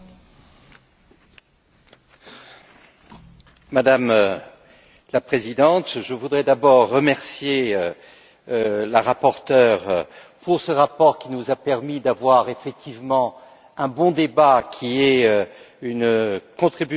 Madame la Présidente, je voudrais d'abord remercier la rapporteure pour ce rapport qui nous a permis d'avoir effectivement un bon débat, qui est une contribution importante aux préparatifs des réunions